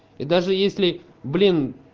и даже если блин